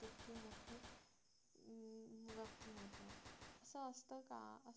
असं असतं का